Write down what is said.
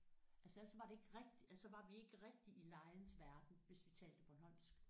Altså ellers så var det ikke rigtigt ellers så var vi ikke rigtig i legens verden hvis vi talte bornholmsk